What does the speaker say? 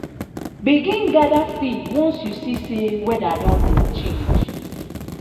begin gather feed once you see say weada don dey change.